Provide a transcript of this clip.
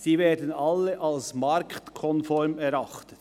Sie werden alle als marktkonform erachtet».